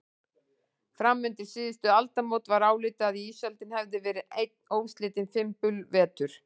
Fram undir síðustu aldamót var álitið að ísöldin hefði verið einn óslitinn fimbulvetur.